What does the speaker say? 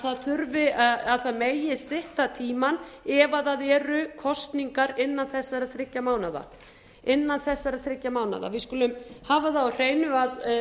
það megi stytta tímann ef það eru kosningar innan þessara þriggja mánaða innan þessara þriggja mánaða við skulum hafa það á hreinu að